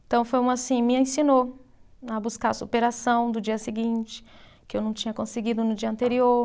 Então, foi uma assim, me ensinou a buscar a superação do dia seguinte, que eu não tinha conseguido no dia anterior.